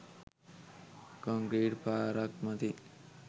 Concrete පාරක් මතින්.